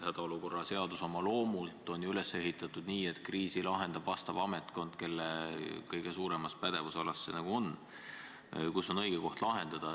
Hädaolukorra seadus on loomult üles ehitatud nii, et kriisi lahendab see ametkond, kelle pädevusalas vastav olukord kõige rohkem on.